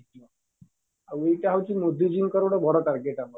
ଆଉ ଏଇଟା ହଉଚି ମୋଦି ଜି ଙ୍କର ଗୋଟେ ବଡ target